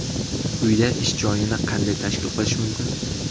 Uyda ish joyini qanday tashkil qilish mumkin?.